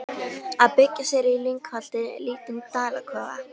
Að byggja sér í lyngholti lítinn dalakofa.